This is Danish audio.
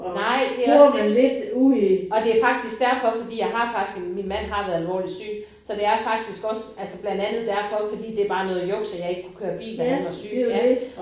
Nej det også det. Og det faktisk derfor fordi jeg har faktisk en min mand har været alvorlig syg så det er faktisk også altså blandt andet derfor fordi det bare noget junks at jeg ikke kunne køre bil da han var syg ja